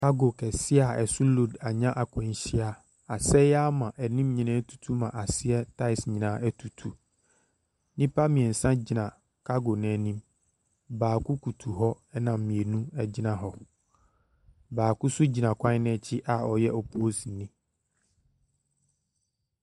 Cargo kɛseɛ a ɛso load ɛnya akwanhyia. Asɛe ama anim nyinaa ɛtutu ama aseɛ taes nyinaa ɛtutu. Nnipa mmiɛnsa gyina cargo no anim. Baako butu hɔ ɛna mmienu egyina hɔ. Baako nso nyinaa kwan no ɛkyi a ɔyɛ oposiini.